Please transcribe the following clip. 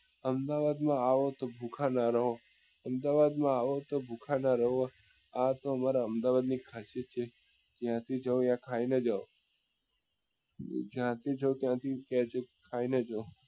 અમદાવાદ માં આવો તો ભૂખા નાં રહો અમદાવાદ માં આવો તો ભૂખા નાં રહો આ તો અમારા અમદાવાદ ની ખાસિયત છે જ્યાં થી જોવો અહિયાં જ્યાંથી જાઓ ત્યાં થી ત્યાં જ ખાઈ ને જાઓ